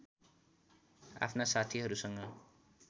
आफ्ना साथीहरूसँग